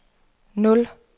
nul